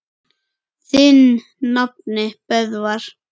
Þinn nafni, Böðvar.